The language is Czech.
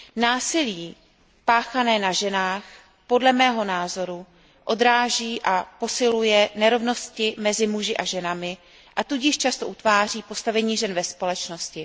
Násilí páchané na ženách podle mého názoru odráží a posiluje nerovnosti mezi muži a ženami, a tudíž často utváří postavení žen ve společnosti.